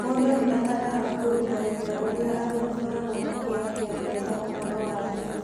Mũndũ nĩ abataraga kũruta wĩra ũrĩa andũ makoragwo makĩaria wega ũhoro waguo.